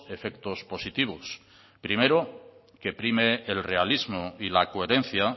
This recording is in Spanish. efectos positivos primero que prime el realismo y la coherencia